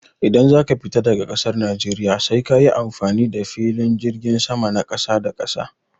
Idan zaka fita daga ƙasar najeriya sai kayi amfani da filin jirgin sama na ƙasa da ƙasa.